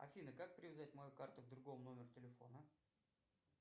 афина как привязать мою карту к другому номеру телефона